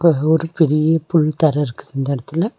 அங்க ஒரு பெரிய புல் தர இருக்கு இந்த எடத்துல.